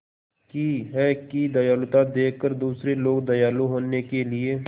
की है कि दयालुता देखकर दूसरे लोग दयालु होने के लिए